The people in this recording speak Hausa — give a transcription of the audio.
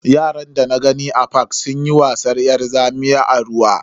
Yaran dana gani a fak sunyi wasan yar zamiya a ruwa.